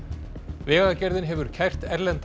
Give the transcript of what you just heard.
vegagerðin hefur kært erlendan